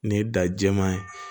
Nin ye da jɛman ye